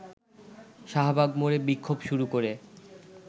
শাহবাগ মোড়ে বিক্ষোভ শুরু করে